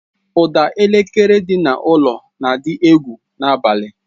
Ụda elekere dị n'ụlọ na-adị egwu n'abalị.